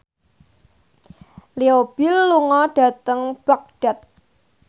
Leo Bill lunga dhateng Baghdad